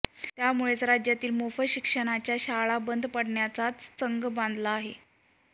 त्यामुळेच राज्यातील मोफत शिक्षणाच्या शाळा बंद पाडण्याचाच चंग बांधला आहे